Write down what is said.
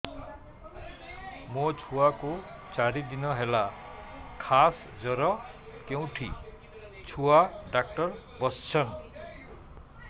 ମୋ ଛୁଆ କୁ ଚାରି ଦିନ ହେଲା ଖାସ ଜର କେଉଁଠି ଛୁଆ ଡାକ୍ତର ଵସ୍ଛନ୍